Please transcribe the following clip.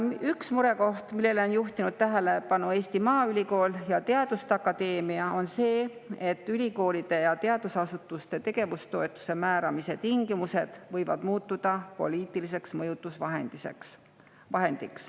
Üks murekoht, millele on juhtinud tähelepanu Eesti Maaülikool ja teaduste akadeemia, on see, et ülikoolide ja teadusasutuste tegevustoetuse määramise tingimused võivad muutuda poliitiliseks mõjutusvahendiks.